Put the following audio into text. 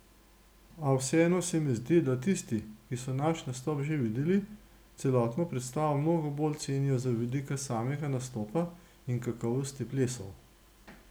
A vseeno se mi zdi, da tisti, ki so naš nastop že videli, celotno predstavo mnogo bolj cenijo z vidika samega nastopa in kakovosti plesov.